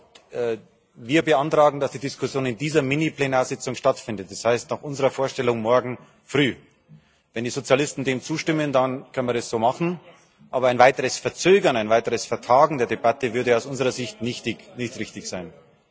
Also wir beantragen, dass die Diskussion in dieser Mini Plenartagung stattfindet, das heißt, nach unserer Vorstellung morgen Früh. Wenn die Sozialisten dem zustimmen, dann können wir das so machen, aber ein weiteres Verzögern, ein weiteres Vertagen der Debatte würde aus unserer Sicht nicht richtig sein.